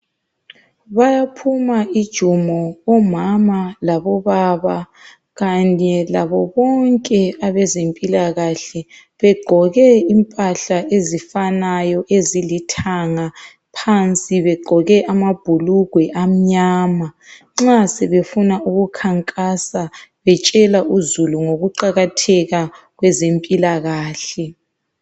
Bayaphuma ijumo omama Kanye labobaba labo bonke abezempilakahle begqoke impahla ezifananayo ezilithanga phansi begqoke amabhulugwe amnyama nxa sebefuna ukukhankasa betshela uzulu ngokuqakatheka kwezempilakahle.